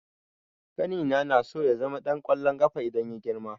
Ƙanina naso ya zama ɗan ƙwallon ƙafa idan ya girma.